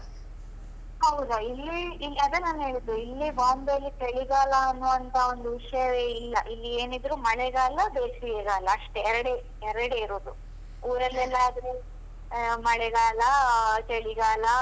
ಹೌದಾ ಇಲ್ಲಿ, ಇಲ್ಲಿ ಅದೇ ನನ್ ಹೇಳಿದ್ದು ಇಲ್ಲಿ Bombay ಲಿ ಚಳಿಗಾಲ ಅನುವಂತ ಒಂದು ವಿಷಯವೇ ಇಲ್ಲ, ಇಲ್ಲಿ ಏನಿದ್ರೂ ಮಳೆಗಾಲ, ಬೇಸಿಗೆ ಗಾಲ ಅಷ್ಟೇ ಎರಡೇ ಎರಡೇ ಇರುದು. ಊರಲ್ಲೆಲ್ಲ ಆದ್ರೆ ಆ ಮಳೆಗಾಲ, ಚಳಿಗಾಲ,